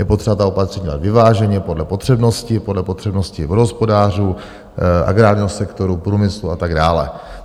Je potřeba ta opatření dělat vyváženě podle potřebnosti, podle potřebnosti vodohospodářů, agrárního sektoru, průmyslu a tak dále.